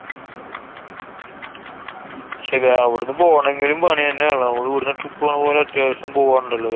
പക്ഷെ അവുടന്നു പോണെങ്കിലും പണ്യെന്നെ ആണല്ലോ? നമ്മളു ഇവടന്ന് trip പോണ പോലെ അത്യാവശ്യം പോവാനുണ്ടല്ലോ